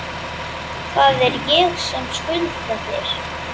Það er ég sem skulda þér!